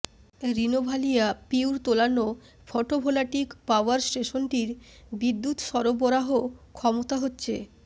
Renovalia Puertollano photovoltaic power স্টেশনটির বিদ্যুৎ সরবরাহ ক্ষমতা হচ্ছে